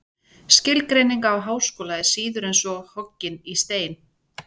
Skilgreining á háskóla er síður en svo hoggin í stein.